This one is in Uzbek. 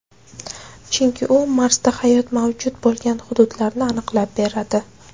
Chunki u Marsda hayot mavjud bo‘lgan hududlarni aniqlab beradi.